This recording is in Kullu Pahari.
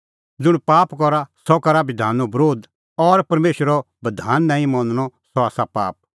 ज़ुंण पाप करा सह करा बधानो बरोध और परमेशरो बधान नांईं मनणअ आसा पाप